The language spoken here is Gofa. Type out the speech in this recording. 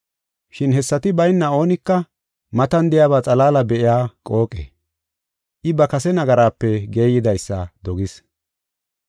Shin hessati bayna oonika matan de7iyaba xalaala be7iya qooqe. I ba kase nagaraape geeyidaysa dogis.